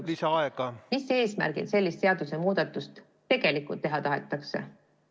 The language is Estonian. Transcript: Paraku jääb selgusetuks, mis eesmärgil sellist seadusemuudatust tegelikult teha tahetakse.